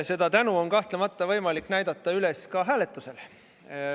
Seda tänu on kahtlemata võimalik näidata üles ka hääletusel.